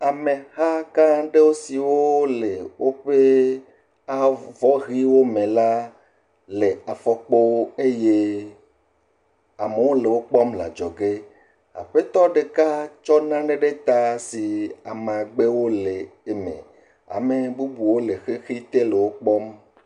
ameha gãɖewo siwó le wóƒɛ avɔhiwo mɛ la le afɔkpo eye amewo le wokpɔm le adzɔge aƒetɔ ɖeka tsɔ nane ɖe ta si amagbewo le eme ame bubuwo le xɛxɛte le wókpɔm